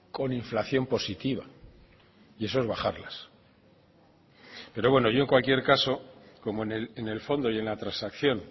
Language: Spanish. con inflación positiva y eso es bajarlas pero bueno yo en cualquier caso como en el fondo y en la transacción